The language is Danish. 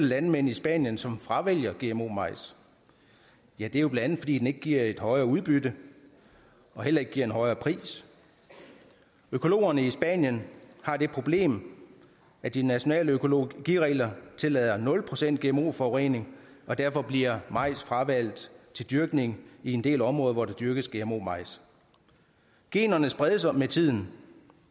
landmænd i spanien som fravælger gmo majs ja det er jo bla fordi den ikke giver et højere udbytte og heller ikke giver en højere pris økologerne i spanien har det problem at de nationale økologiregler tillader nul procent gmo forurening og derfor bliver majs fravalgt til dyrkning i en del områder hvor der dyrkes gmo majs generne spredes med tiden